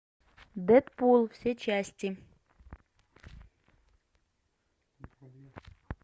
дэдпул все части